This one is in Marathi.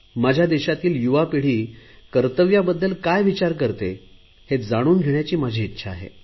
माझ्या देशातील युवा पिढी कर्तव्यांबद्दल काय विचार करते हे जाणून घेण्याची माझी इच्छा आहे